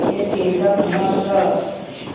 यह चिमटा कहाँ था